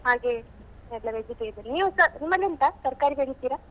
ಹಾಗೆ ಎಲ್ಲ vegetable ನೀವುಸ ನಿಮ್ಮಲಿ ಉಂಟಾ ತರ್ಕಾರಿ ಬೆಳಿತೀರಾ?